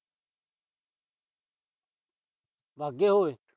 ਵਾਗਏ ਉਏ।